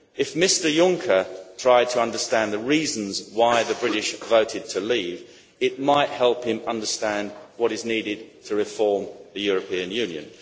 If Mr Juncker tried to understand the reasons why the British voted to leave, it might help him understand what is needed to reform the European Union.